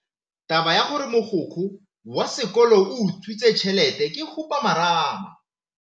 Taba ya gore mogokgo wa sekolo o utswitse tšhelete ke khupamarama.